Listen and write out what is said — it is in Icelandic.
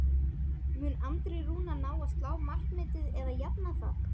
Mun Andri Rúnar ná að slá markametið eða jafna það?